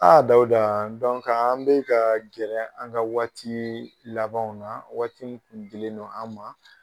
Dawuda an bɛ ka gɛrɛ an ka waati labanw na waati min tun dilen no an ma.